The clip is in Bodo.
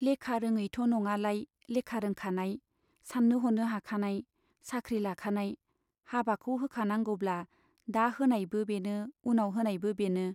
लेखा रोङैथ' नङालाय लेखा रोंखानाय, सान्नो ह'नो हाखानाय, साख्रि लाखानाय, हाबाखौ होखानांगौब्ला दा होनायबो बेनो उनाव होनायबो बेनो।